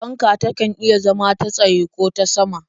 Fanka takan iya zama ta tsaye ko ta sama.